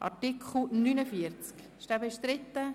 Art. 49 Angenommen